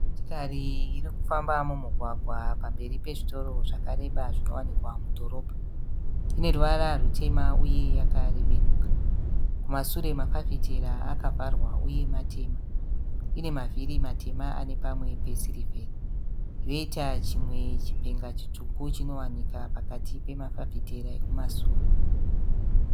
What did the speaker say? Motikari irikufamba mumugwagwa pamberi pezvitoro zvakareba zvinowanikwa mudhorobha. Ine ruvara rutema uye yakarebenuka. Kumasure mafafitera akavharwa uye matema . Ine mavhiri matema anepamwe pesirivheri. Yoita chimwe chipenga chitsvuku chinowanika pakati pemafafitera ekumasure.